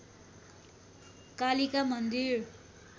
कालिका मन्दिर